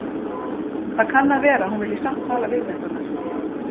Það kann að vera að hún vilji samt tala við mig, Gunnar